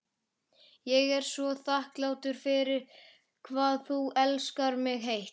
Ég er svo þakklát fyrir hvað þú elskar mig heitt.